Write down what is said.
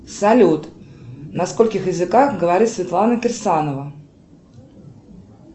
салют на скольких языках говорит светлана кирсанова